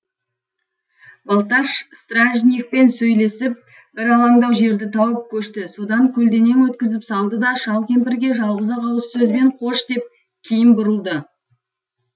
балташ стражникпен сөйлесіп бір алаңдау жерді тауып көшті содан көлденең өткізіп салды да шал кемпірге жалғыз ақ ауыз сөзбен қош деп кейін бұрылды